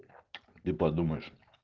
и подумаешь